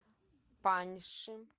паньши